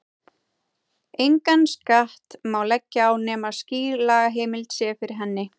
Engan skatt má leggja á nema skýr lagaheimild sé fyrir hendi.